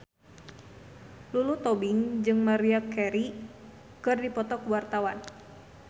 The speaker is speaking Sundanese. Lulu Tobing jeung Maria Carey keur dipoto ku wartawan